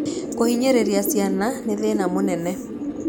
Kũhinyĩrĩria ciana nĩ thĩna mũnene.